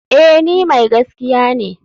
Eh ni mai gaskiya ne.